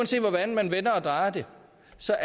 så